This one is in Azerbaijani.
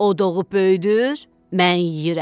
O doğub böyüdür, mən yeyirəm.